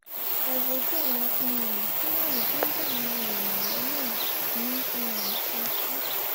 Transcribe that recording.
ẹ wojú àwọn um fúlàní tó ń dá àwọn èèyàn lọ́nà ní um ṣákì